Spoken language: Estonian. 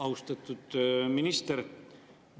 Austatud minister!